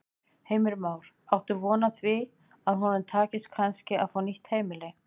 Heimir Már: Áttu von á því að honum takist kannski að fá nýtt heimili?